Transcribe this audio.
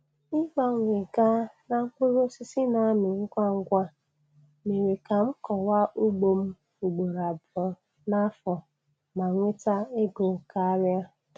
Ịgbanwe gaa na mkpụrụ osisi n'amị ngwa ngwa, mere ka m kọwa ugbom ugboro abụọ n'afọ ma nweta ego karịa